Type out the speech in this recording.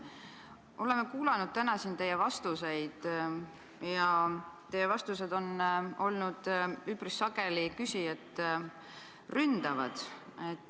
Oleme kuulanud täna siin teie vastuseid ja need on olnud üpris sageli küsijat ründavad.